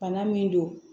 Bana min don